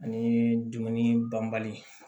Ani dumuni banbali